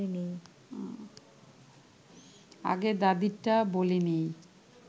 আগে দাদিরটা বলে নিই